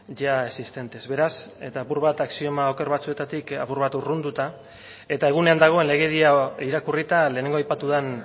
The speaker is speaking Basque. ya existentes beraz eta apur bat axioma oker batzuetatik apur bat urrunduta eta egunean dagoen legedia irakurrita lehenengo aipatu den